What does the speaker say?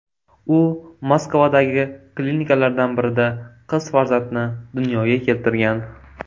U Moskvadagi klinikalardan birida qiz farzandni dunyoga keltirgan.